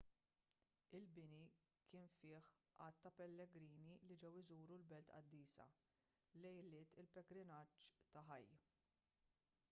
il-bini kien fih għadd ta' pellegrini li ġew iżuru l-belt qaddisa lejliet il-pellegrinaġġ ta' hajj